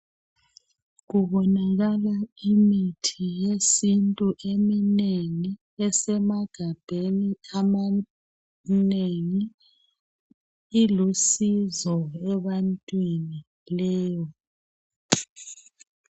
Kubonakala imithi yesintu eminengi esemagabheni amanengi. Ilusizo ebantwini leyo.